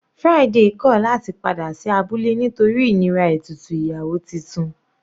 Friday kọ̀ láti padà sí abúlé nítorí ìnira ètùtù ìyàwó titun.